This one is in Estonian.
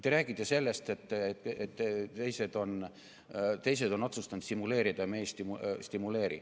Te räägite sellest, et teised on otsustanud stimuleerida ja meie ei stimuleeri.